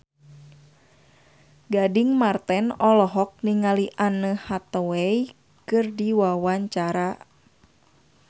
Gading Marten olohok ningali Anne Hathaway keur diwawancara